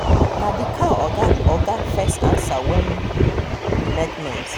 animals wey dey move together dey trust who dem sabi pass person wey dem no sabi